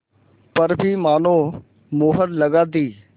पर भी मानो मुहर लगा दी